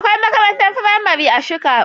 Akwai makarantar firamare a shika.